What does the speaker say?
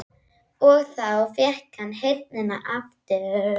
Og þá fékk hann heyrnina aftur.